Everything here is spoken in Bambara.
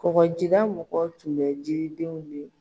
Kɔkɔjida mɔgɔ tun bɛ jiridenw ye.